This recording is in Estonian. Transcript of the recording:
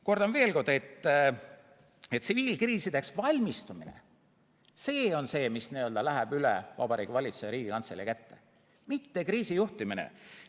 Kordan veel kord, et tsiviilkriisideks valmistumine on see, mis läheb üle Vabariigi Valitsuse ja Riigikantselei kätte, mitte kriisijuhtimine.